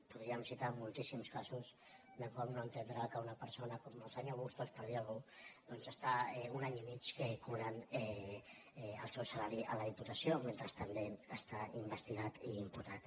podríem citar moltíssims casos de com no entendre que una persona com el senyor bustos per dir algú doncs està un any i mig cobrant el seu salari a la diputació mentre també està investigat i imputat